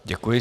Děkuji.